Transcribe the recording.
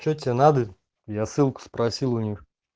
что тебе надо я ссылку спросил у них